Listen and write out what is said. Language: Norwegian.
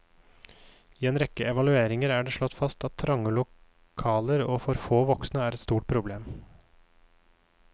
I en rekke evalueringer er det slått fast at trange lokaler og for få voksne er et stort problem.